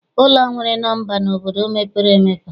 Ụlọ nwere nọmba n'obodo mepere emepe.